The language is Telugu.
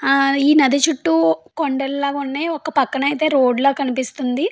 ఈ నది చుట్టూ కొండలు ల ఉన్నాయి ఒక పక్కన అయితే రోడ్డు ల కనిపిస్తుంది.